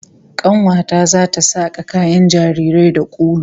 Kanuwa ta zata saka kayan jarirai da ulu